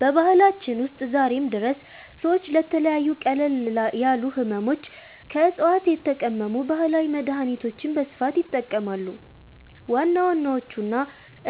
በባህላችን ውስጥ ዛሬም ድረስ ሰዎች ለተለያዩ ቀለል ያሉ ሕመሞች ከዕፅዋት የተቀመሙ ባህላዊ መድኃኒቶችን በስፋት ይጠቀማሉ። ዋና ዋናዎቹና